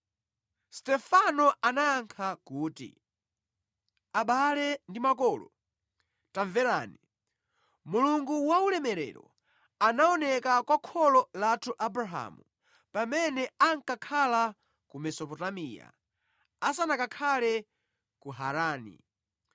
Stefano anayankha kuti, “Abale ndi makolo, tamverani! Mulungu waulemerero anaoneka kwa kholo lathu Abrahamu pamene ankakhala ku Mesopotamiya, asanakakhale ku Harani.